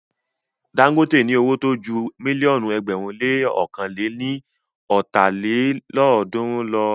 Dagote ní owó tó ju mílíọ̀nù ẹgbẹ̀rún le ọ̀kan lé ní lọ́ta lélọ́ọ̀dúnrún lọ.